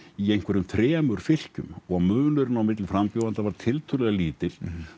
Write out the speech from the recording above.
í einhverjum þremur fylkjum og munurinn milli frambjóðenda var tiltölulega lítill